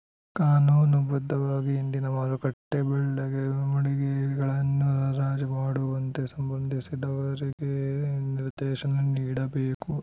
ಕಾನೂನು ಬದ್ಧವಾಗಿ ಇಂದಿನ ಮಾರುಕಟ್ಟೆಬೆಲೆಗೆ ಮಳಿಗೆಗಳನ್ನು ಹರಾಜು ಮಾಡುವಂತೆ ಸಂಬಂಧಿಸಿದವರಿಗೆ ನಿರ್ದೇಶನ ನೀಡಬೇಕು